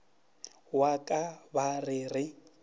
wa ka ba re re